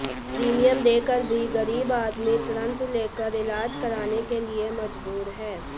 premium देकर भी गरीब आदमी ऋण लेकर इलाज कराने के लिए मजबूर है